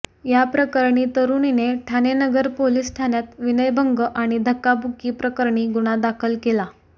या प्रकरणी तरुणीने ठाणे नगर पोलीस ठाण्यात विनयभंग आणि धक्काबुक्की प्रकरणी गुन्हा दाखल केला